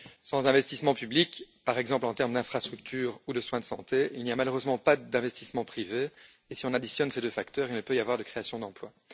Sans investissements publics, par exemple en termes d'infrastructures ou de soins de santé, il n'y a malheureusement pas d'investissements privés, et si on additionne ces deux facteurs, il ne peut y avoir de création d'emplois.